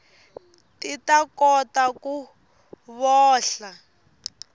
ti ta kota ku vohla